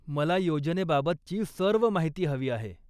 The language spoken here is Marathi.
मला योजनेबाबतची सर्व माहिती हवी आहे.